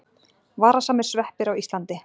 Varasamir sveppir á Íslandi.